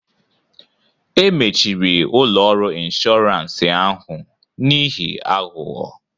E mechiri ụlọ ọrụ inshọransị ahụ n'ihi aghụghọ